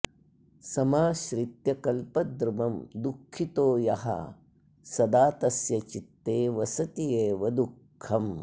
समाश्रित्य कल्पद्रुमं दुःखितो यः सदा तस्य चित्ते वसत्येव दुःखम्